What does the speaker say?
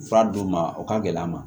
Fura d'u ma u ka gɛlɛn a ma